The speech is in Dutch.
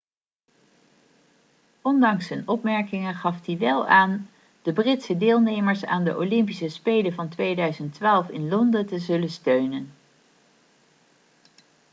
ondanks zijn opmerkingen gaf hij wel aan de britse deelnemers aan de olympische spelen van 2012 in londen te zullen steunen